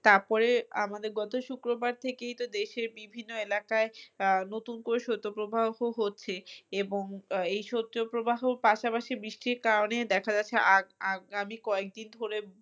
তারপরে আমাদের গত শুক্রবার থেকেই তো দেশের বিভিন্ন এলাকায় আহ নতুন করে শৈতপ্রবাহ হচ্ছে এবং আহ এই শৈতপ্রবাহর পাশাপাশি বৃষ্টির কারণে দেখা যাচ্ছে আগআগামী কয়েকদিন ধরে